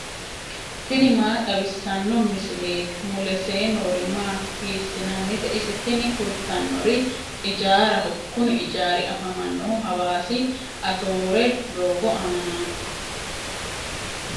tini maa xawissanno misileeti ? mulese noori maati ? hiissinannite ise ? tini kultannori ijaaraho. kuni ijaari afamannohu hawaasa atoore doogo aanaati.